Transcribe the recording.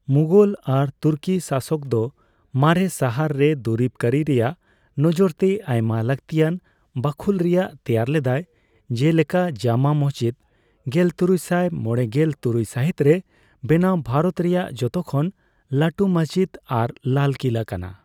ᱢᱩᱜᱚᱞ ᱟᱨ ᱛᱩᱨᱠᱤ ᱥᱟᱥᱚᱠ ᱫᱚ ᱢᱟᱨᱮ ᱥᱟᱦᱟᱨ ᱨᱮ ᱫᱩᱨᱤᱵ ᱠᱟᱹᱨᱤ ᱨᱮᱭᱟᱜ ᱱᱚᱡᱚᱨ ᱛᱮ ᱟᱭᱢᱟ ᱞᱟᱹᱠᱛᱤᱭᱟᱱ ᱵᱟᱹᱠᱷᱩᱞ ᱨᱮᱭᱟᱜ ᱛᱮᱭᱟᱨ ᱞᱮᱫᱟᱭ, ᱡᱮᱞᱮᱠᱟ ᱡᱟᱢᱟ ᱢᱚᱥᱡᱤᱛ, ᱜᱮᱞᱛᱩᱨᱩᱭᱥᱟᱭ ᱢᱚᱲᱮᱜᱮᱞ ᱛᱩᱨᱩᱭ ᱥᱟᱹᱦᱤᱛ ᱨᱮ ᱵᱮᱱᱟᱣ ᱵᱷᱟᱨᱚᱛ ᱨᱮᱭᱟᱜ ᱡᱚᱛᱚᱠᱷᱚᱱ ᱞᱟᱹᱴᱩ ᱢᱚᱥᱡᱤᱛ ᱟᱨ ᱞᱟᱞ ᱠᱤᱞᱟ ᱠᱟᱱᱟ ᱾